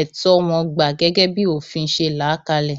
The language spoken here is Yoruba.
ẹtọ wọn gbà gẹgẹ bí òfin ṣe là á kalẹ